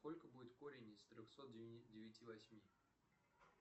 сколько будет корень из трехсот девяти восьми